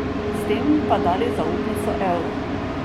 S tem pa dali zaupnico evru.